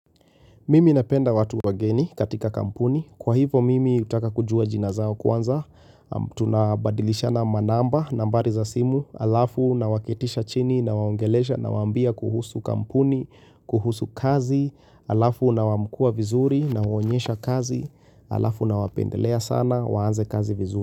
Mimi napenda watu wageni katika kampuni. Kwa hivo, mimi utaka kujua jina zao kwanza. Tunabadilishana manamba, nambari za simu, alafu na waketisha chini na waongelesha nawaambia kuhusu kampuni, kuhusu kazi, alafu na wamkua vizuri nawaonyesha kazi, alafu na wapendelea sana, waanze kazi vizuri.